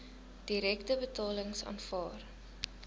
direkte betalings aanvaar